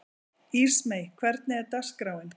Ísmey, hvernig er dagskráin?